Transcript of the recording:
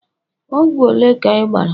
Ogwu ole ka I bara